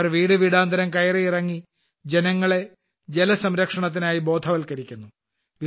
ഇവർ വീടുവീടാന്തരം കയറിയിറങ്ങി ജനങ്ങളെ ജലസംരക്ഷണത്തിനായി ബോധവല്ക്കരിക്കുന്നു